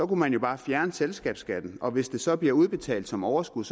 man jo bare fjerne selskabsskatten og hvis det så bliver udbetalt som overskud